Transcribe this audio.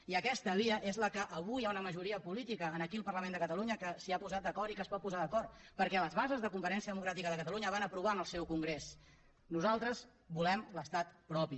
i aquesta via és la que avui hi ha una majoria política aquí al parlament de catalunya que s’hi ha posat d’acord i que es pot posar d’acord perquè les bases de convergència democràtica de catalunya ho van aprovar en el seu congrés nosaltres volem l’estat propi